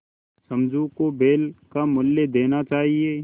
समझू को बैल का मूल्य देना चाहिए